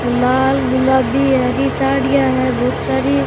और लाल गुलाबी हरी साड़ियां है बहुत सारी।